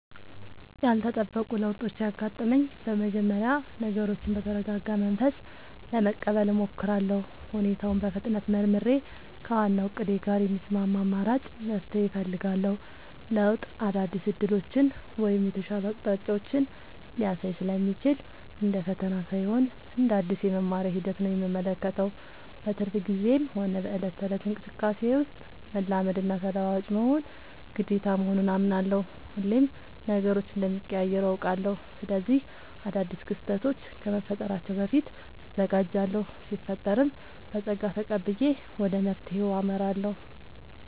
ያልተጠበቁ ለውጦች ሲያጋጥሙኝ በመጀመሪያ ነገሮችን በተረጋጋ መንፈስ ለመቀበል እሞክራለሁ። ሁኔታውን በፍጥነት መርምሬ፣ ከዋናው እቅዴ ጋር የሚስማማ አማራጭ መፍትሄ እፈልጋለሁ። ለውጥ አዳዲስ ዕድሎችን ወይም የተሻሉ አቅጣጫዎችን ሊያሳይ ስለሚችል፣ እንደ ፈተና ሳይሆን እንደ አዲስ የመማሪያ ሂደት ነው የምመለከተው። በትርፍ ጊዜዬም ሆነ በዕለት ተዕለት እንቅስቃሴዬ ውስጥ፣ መላመድና ተለዋዋጭ መሆን ግዴታ መሆኑን አምናለሁ። ሁሌም ነገሮች እንደሚቀያየሩ አውቃለሁ። ስለዚህ አዳዲስ ክስተቶች ከመፈጠራቸው በፊት እዘጋጃለሁ ሲፈጠርም በፀጋ ተቀብዬ ወደ መፍትሄው አመራለሁ።